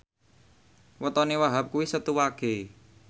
wetone Wahhab kuwi Setu Wage